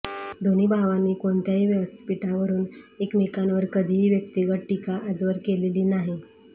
दोन्ही भावांनी कोणत्याही व्यासपीठावरून एकमेकांवर कधीही व्यक्तिगत टीका आजवर केलेली नाही